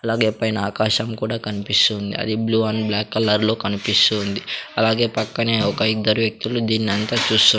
అలాగే పైన ఆకాశం కూడా కనిపిస్తుంది అది బ్లూ అండ్ బ్లాక్ కలర్ లో కనిపిస్తుంది అలాగే పక్కనే ఒక ఇద్దరు వ్యక్తులు దీన్నంతా చూస్తూ--